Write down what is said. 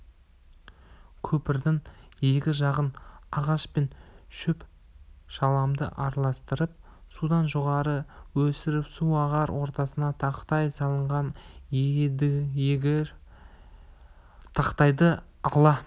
көпірдің екі жағын ағаш пен шөп-шаламды араластырып судан жоғары өсіріп су ағар ортасына тақтай салынған едіегер тақтайды ала